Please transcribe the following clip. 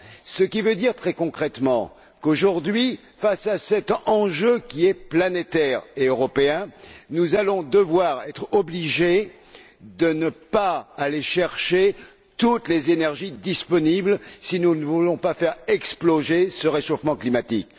Ce qui veut dire très concrètement qu'aujourd'hui, face à cet enjeu qui est planétaire et européen, nous serons obligés de ne pas aller chercher toutes les énergies disponibles si nous ne voulons pas faire exploser ce réchauffement climatique.